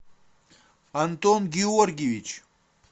антон георгиевич